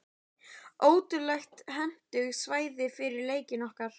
Ótrúlega hentugt svæði fyrir leikinn okkar.